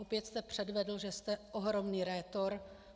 Opět jste předvedl, že jste ohromný rétor.